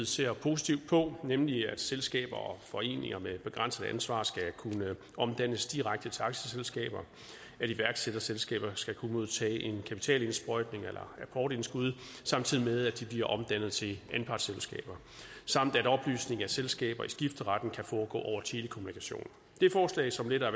ser positivt på nemlig at selskaber og foreninger med begrænset ansvar skal kunne omdannes direkte til aktieselskaber at iværksætterselskaber skal kunne modtage en kapitalindsprøjtning eller apportindskud samtidig med at de bliver omdannet til anpartsselskaber samt at opløsning af selskaber i skifteretten kan foregå over telekommunikation det er forslag som letter